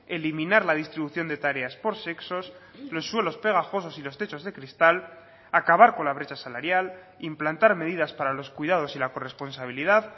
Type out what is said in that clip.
eliminar la distribución de tareas por sexos los suelos pegajosos y los techos de cristal acabar con la brecha salarial implantar medidas para los cuidados y la corresponsabilidad